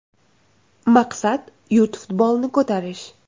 Maqsad yurt futbolini ko‘tarish.